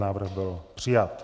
Návrh byl přijat.